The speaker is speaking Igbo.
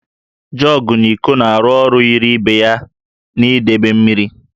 Jọgụ na íkó na-arụ ọrụ yiri ibe ya n'idebe mmiri